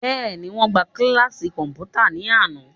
Bẹ́ẹ̀ni, wọ́n gbá kíláàsì kọ̀m̀pútà ní àná